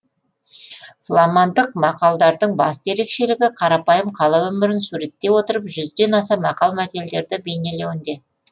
фламандық мақалдардың басты ерекшелігі қарапайым қала өмірін суреттей отырып жүзден аса мақал мәтелдерді бейнелеуінде